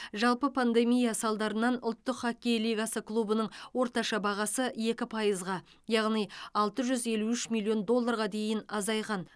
жалпы пандемия салдарынан ұлттық хоккей лигасы клубының орташа бағасы екі пайызға яғни алты жүз елу үш миллион долларға дейін азайған